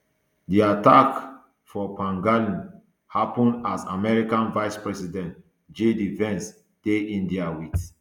di attack for pahalgam happun as american vice president jd vance dey india wit